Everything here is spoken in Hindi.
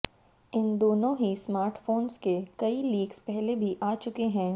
इन दोनों ही स्मार्टफोन्स के कई लीक्स पहले भी आ चुके हैं